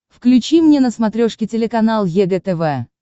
включи мне на смотрешке телеканал егэ тв